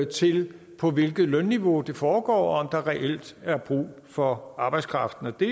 til på hvilket lønniveau det foregår og der reelt er brug for arbejdskraften det